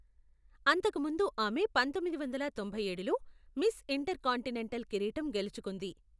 అంతకుముందు ఆమె పంతొమ్మిది వందల తొంభై ఏడులో మిస్ ఇంటెర్కాంటినెంటల్ కిరీటం గెలుచుకుంది.